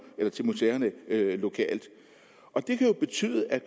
eller til museerne lokalt og det kan jo betyde at